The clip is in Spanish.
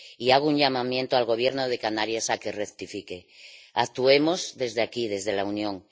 Hago un llamamiento al Gobierno de Canarias para que rectifique. Actuemos desde aquí, desde la Unión.